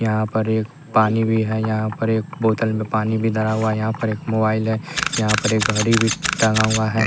यहां पर एक पानी भी है यहां पर एक बोतल में पानी भी धरा हुआ यहां पर एक मोबाइल है यहां पर घड़ी भी टांगा हुआ है।